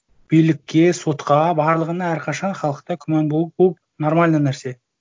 билікке сотқа барлығына әрқашан халықта күмән болып болып нормальный нәрсе